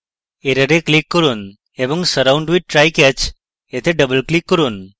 error click করুন এবং surround with try/catch এ double click করুন